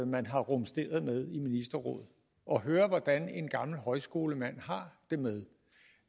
man har rumsteret med i ministerrådet og høre hvordan en gammel højskolemand har det med